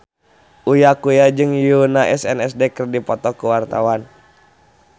Uya Kuya jeung Yoona SNSD keur dipoto ku wartawan